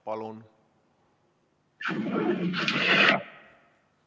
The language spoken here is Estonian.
Palun!